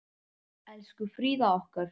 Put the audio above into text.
Elsku Fríða okkar.